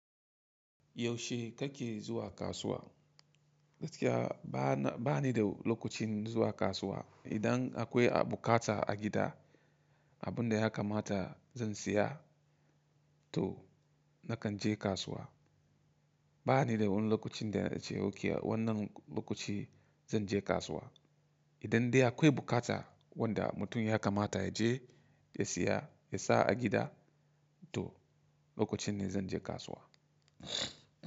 Yaushe kake zuwa kasuwa? Gaskiya ba ni da lokacin zuwa kasuwa. Idan akwai abu kata a gida, abin da ya kamata zan saya to nakan je kasuwa. Ba ni da wani lokacin da na ce ok wannan lokaci zan je kasuwa. Idan dai akwai bukata wanda mutum ya kamata ya je ya saya, ya sa a gida to lokacin ne zan je kasuwa.